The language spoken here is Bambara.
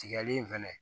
Tigali in fɛnɛ